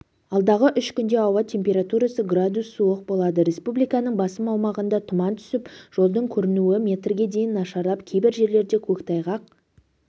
алдағы үш күнде ауа температурасы градус суық болады республиканың басым аумағында тұман түсіп жолдың көрінуі метрге дейін нашарлап кейбір жерлерде көктайғақ